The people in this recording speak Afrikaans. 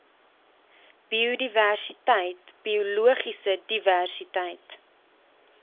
biodiversiteit biologiese diversiteit